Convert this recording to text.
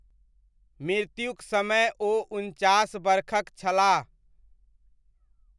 मृत्युक समय ओ उनचास बरखक छलाह।